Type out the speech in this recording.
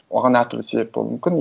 оған әртүрлі себеп болуы мүмкін